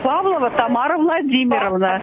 павлова тамара владимировна